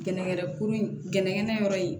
Gɛnɛgɛnɛ kuru in gɛnɛgɛnɛ yɔrɔ in